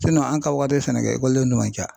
an ka wagati sɛnɛkɛ ekɔlidenw tun man ca.